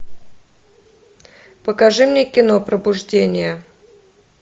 покажи мне кино пробуждение